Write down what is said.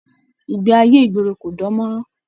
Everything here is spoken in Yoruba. Ìgbé ayé ìgboro kò dàn mọ́ràn.